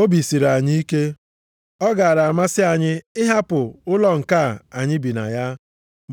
Obi siri anyị ike. Ọ gaara amasị anyị ịhapụ ụlọ nke a anyị bi na ya,